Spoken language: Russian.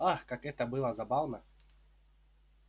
ах как это было забавно